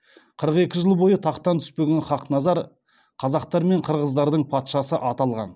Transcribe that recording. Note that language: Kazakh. қырық екі жыл бойы тақтан түспеген хақназар қазақтар мен қырғыздардың патшасы аталған